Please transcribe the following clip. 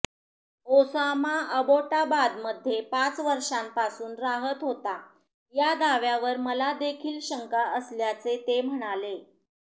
Osama अबोटाबादमध्ये पाच वर्षांपासून राहत होता या दाव्यावर मलादेखील शंका असल्याचे ते म्हणाले